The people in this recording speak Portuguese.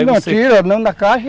Não, tira, não na caixa.